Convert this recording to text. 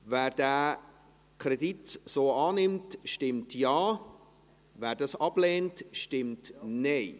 Wer den Kredit so annimmt, stimmt Ja, wer dies ablehnt, stimmt Nein.